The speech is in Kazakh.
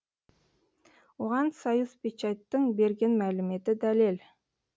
оған союзпечаттың берген мәліметі дәлел